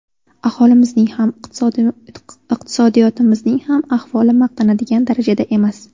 Aholimizning ham, iqtisodiyotimizning ham ahvoli maqtanadigan darajada emas.